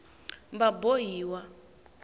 vabohiwa